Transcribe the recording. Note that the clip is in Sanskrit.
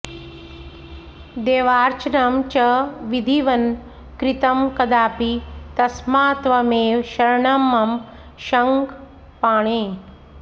देवार्चनं च विधिवन्न कृतं कदापि तस्मात्त्वमेव शरणं मम शङ्खपाणे